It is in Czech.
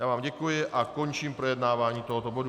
Já vám děkuji a končím projednávání tohoto bodu.